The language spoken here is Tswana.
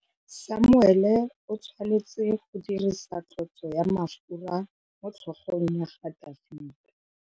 Samuele o tshwanetse go dirisa tlotsô ya mafura motlhôgong ya Dafita.